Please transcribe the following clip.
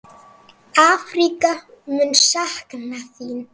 Afríka mun sakna þín.